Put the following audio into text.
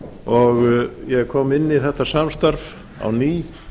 og ég kom inn í þetta samstarf á ný